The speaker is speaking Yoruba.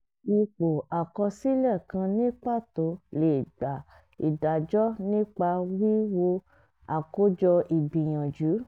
ipò àkọsílẹ̀ kan ní pàtó lè gbà ìdájọ́ nípa wíwo àkójọ ìgbìyànjú